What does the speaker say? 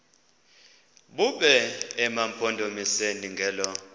bume emampondomiseni ngelo